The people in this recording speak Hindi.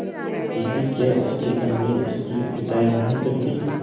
दीदी क्या उसकी अम्मी उसकी पिटाई नहीं करतीं